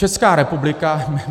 Česká republika...